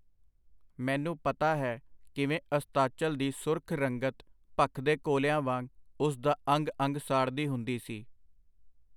ਮੈਨੂੰ ਪਤਾ ਹੈ, ਕਿਵੇਂ ਅਸਤਾਚਲ ਦੀ ਸੁਰਖ ਰੰਗਤ ਭਖਦੇ ਕੋਲਿਆਂ ਵਾਂਗ ਉਸ ਦਾ ਅੰਗ-ਅੰਗ ਸਾੜਦੀ ਹੁੰਦੀ ਸੀ.